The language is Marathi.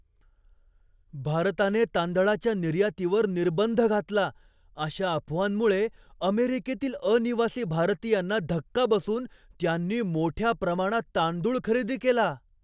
भारताने तांदळाच्या निर्यातीवर निर्बंध घातला अशा अफवांमुळे अमेरिकेतील अनिवासी भारतीयांना धक्का बसून त्यांनी मोठ्या प्रमाणात तांदूळ खरेदी केला.